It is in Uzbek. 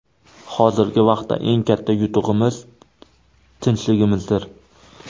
Hozirgi vaqtda eng katta yutug‘imiz – tinchligimizdir.